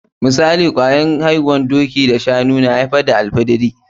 Misali, kwayar aihuwar doki da shanu ya aifar da alfidiri.